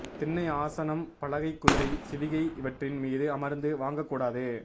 திண்ணை ஆசனம் பலகை குதிரை சிவிகை இவற்றின் மீது அமர்ந்து வாங்ககூடாது